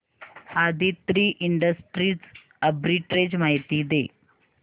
Aditri industries arbitrage माहिती दे